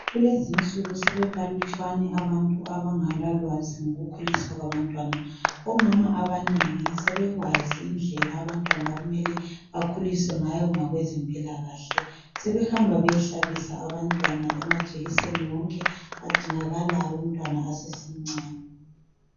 Kulezi nsuku sebebalutshwane abantu abangala lwazi ngokukhuliswa kwabantwana omama abanengi sebekwazi indlela abantwana okumele bakhuliswe ngayo ngokwezempilakahle sebehamba beyehlabisa abantwana amajekiseni wonke adingakalayo umntwana esasemncane.